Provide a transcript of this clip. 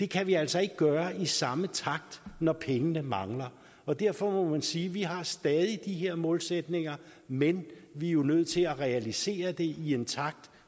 kan vi altså ikke gøre i samme takt når pengene mangler og derfor må man sige vi har stadig de her målsætninger men vi er jo nødt til at realisere det i en takt